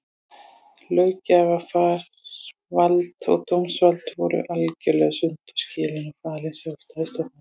Löggjafarvald og dómsvald voru algerlega sundur skilin og falin sjálfstæðum stofnunum.